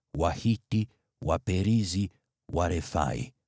Wahiti, Waperizi, Warefai,